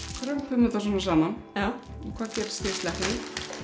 krumpum þetta svona saman og hvað gerist þegar ég sleppi því